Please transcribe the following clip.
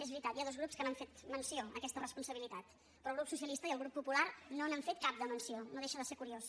és veritat hi ha dos grups que han fet menció d’aquesta responsabilitat però el grup socialista i el grup popular no n’han fet cap de menció no deixa de ser curiós